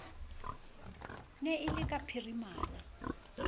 ne e le ka phirimana